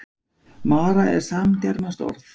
mara er samgermanskt orð